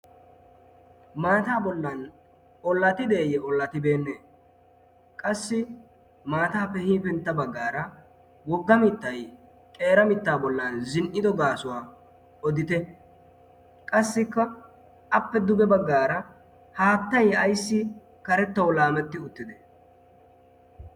maataa bollan ollatideeyye ollatibeenne qassi maataappe hiifentta baggaara wogga mittay qeera mittaa bollan zin''ido gaasuwaa odite qassikka appe duge baggaara haattai ayssi karettou laametti uttite